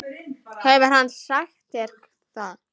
Hefur hann sagt þér það?